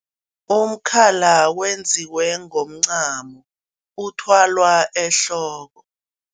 Umkhala wenziwe ngomncamo, uthwalwa ehloko.